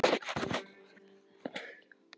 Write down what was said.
Var þetta mikið áfall?